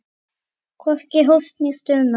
Hvorki hósti né stuna.